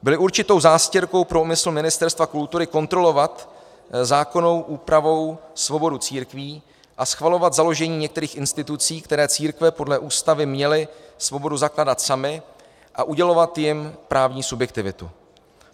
Byly určitou zástěrkou pro úmysl Ministerstva kultury kontrolovat zákonnou úpravou svobodu církví a schvalovat založení některých institucí, které církve podle Ústavy měly svobodu zakládat samy, a udělovat jim právní subjektivitu.